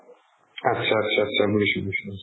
atcha atcha atcha বুজিছো বুজিছো